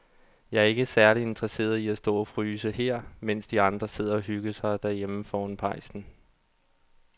Jeg er ikke særlig interesseret i at stå og fryse her, mens de andre sidder og hygger sig derhjemme foran pejsen.